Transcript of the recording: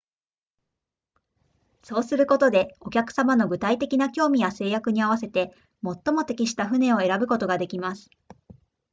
そうすることでお客様の具体的な興味や制約に合わせて最も適した船を選ぶことができます